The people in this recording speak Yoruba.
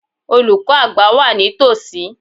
Olùkọ́ àgbà wà ní tòsí.